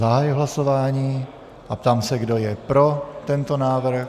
Zahajuji hlasování a ptám se, kdo je pro tento návrh.